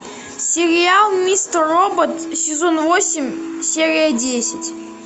сериал мистер робот сезон восемь серия десять